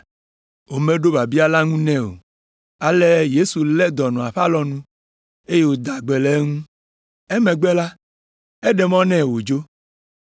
Womeɖo biabia la ŋu nɛ o, ale Yesu lé dɔnɔa ƒe alɔnu, eye wòda gbe le eŋu. Emegbe la, eɖe mɔ nɛ wòdzo.